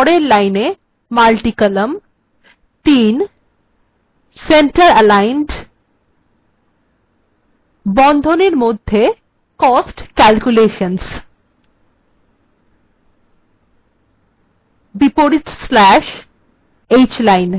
পরের লাইনে multicolumn ৩ এগুলিও centeraligned বন্ধনীর মধ্যে cost calculations বিপরীত স্ল্যাশ্ hline